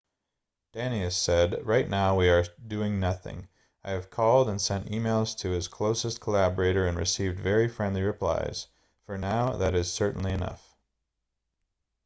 danius said right now we are doing nothing i have called and sent emails to his closest collaborator and received very friendly replies for now that is certainly enough